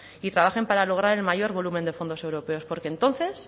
y trabajen para lograr el mayor volumen de fondos europeos porque entonces